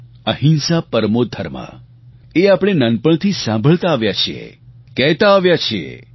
અહિંસા પરમો ધર્મ એ આપણે નાનપણથી સાંભળતા આવ્યા છીએ કહેતા આવ્યા છીએ